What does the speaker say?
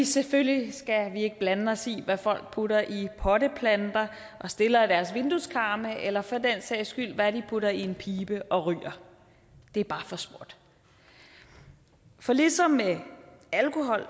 selvfølgelig skal vi ikke blande os i hvad folk putter i potteplanter og stiller i deres vindueskarme eller for den sags skyld hvad de putter i en pibe og ryger det er bare for småt for ligesom med alkohol